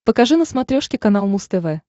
покажи на смотрешке канал муз тв